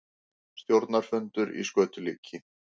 Stjórnarfundur í skötulíki